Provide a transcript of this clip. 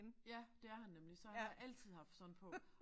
Ja det er nemlig så han har altid haft sådan på